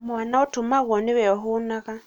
mwana ũtũmagwo nĩwe ũhũnaga